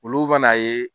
Olu bɛna a ye